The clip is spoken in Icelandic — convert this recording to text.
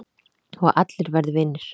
Og allir verði vinir